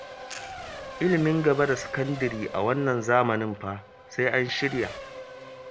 Ilimin gaba da sakandare a wannan zamani fa sai an shirya